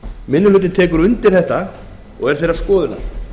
minni hlutinn tekur undir þetta og er þeirrar skoðunar